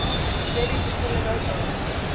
debbie priscilla lopez